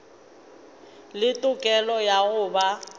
le tokelo ya go ba